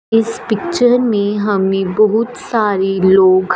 इस पिक्चर में हमें बहुत सारे लोग--